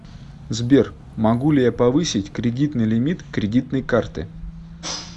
сбер могу ли я повысить кредитный лимит кредитной карты